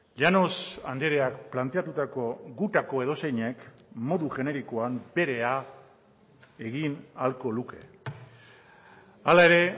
llanos andreak planteatutako gutako edozeinek modu generikoan berea egin ahalko luke hala ere